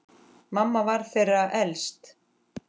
Mamma var þeirra elst.